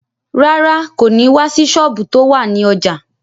Rárá, kò ní wá sí sọ́ọ̀bù tó wà ní ọjà